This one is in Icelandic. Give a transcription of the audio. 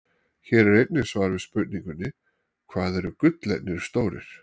Hér er einnig svar við spurningunni: Hvað eru gullernir stórir?